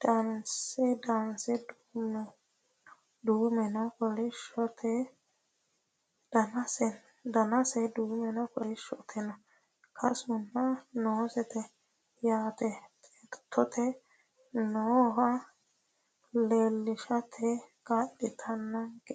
danase duumenna kolishshote kasuno noosete yaate xeertote nooha leellishate kaa'litannonke